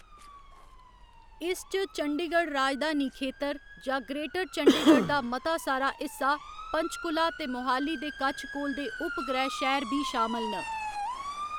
इस च चंडीगढ़ राजधानी खेतर जां ग्रेटर चंडीगढ़ दा मता सारा हिस्सा, पंचकुला ते मोहाली दे कच्छ कोल दे उपग्रह शैह्‌र बी शामल न।